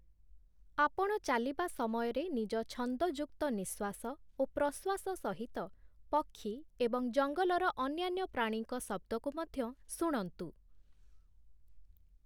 ଆପଣ ଚାଲିବା ସମୟରେ ନିଜ ଛନ୍ଦଯୁକ୍ତ ନିଃଶ୍ୱାସ ଓ ପ୍ରଶ୍ୱାସ ସହିତ ପକ୍ଷୀ ଏବଂ ଜଙ୍ଗଲର ଅନ୍ୟାନ୍ୟ ପ୍ରାଣୀଙ୍କ ଶବ୍ଦକୁ ମଧ୍ୟ ଶୁଣନ୍ତୁ ।